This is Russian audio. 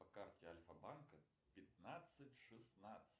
по карте альфабанка пятнадцать шестнадцать